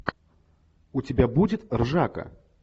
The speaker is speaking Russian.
у тебя будет ржака